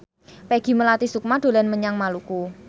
Peggy Melati Sukma dolan menyang Maluku